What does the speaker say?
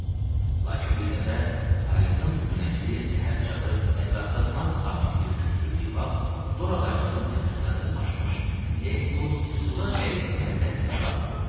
Lakin bir dəfə aydın günəşli səhər çağı ətrafda tam sakitlik hökm sürdüyü vaxt dor ağacının təpəsinə dırmaşmış Deku suda qəribə mənzərənin şahidi oldu.